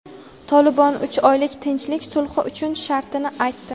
"Tolibon" uch oylik tinchlik sulhi uchun shartini aytdi.